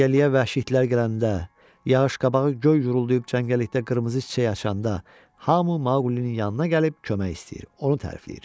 Cəngəlliyə vəhşi itlər gələndə, yağış qabağı göy guruldayıb cəngəllikdə qırmızı çiçək açanda hamı Maulinin yanına gəlib kömək istəyir, onu tərifləyir.